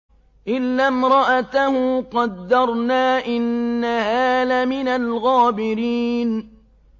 إِلَّا امْرَأَتَهُ قَدَّرْنَا ۙ إِنَّهَا لَمِنَ الْغَابِرِينَ